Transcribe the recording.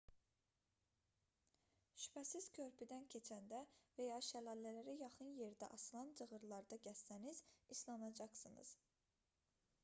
şübhəsiz körpüdən keçəndə və ya şəlalələrə yaxın yerdə asılan cığırlarda gəzsəniz islanacaqsınz